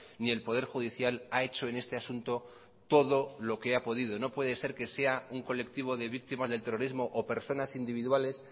ni el poder judicial a hecho en este asunto todo lo que ha podido no puede ser que sea un colectivo de víctimas del terrorismo o personas individuales